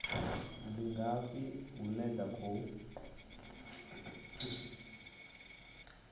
ndi ngafhi hune dza khou